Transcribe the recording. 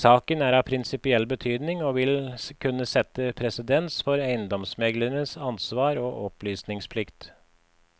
Saken er av prinsipiell betydning og vil kunne sette presedens for eiendomsmegleres ansvar og opplysningsplikt.